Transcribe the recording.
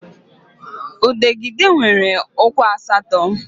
Udegịde nwere ụkwụ asatọ